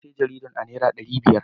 Na sayi jaridar a naira dari biyar.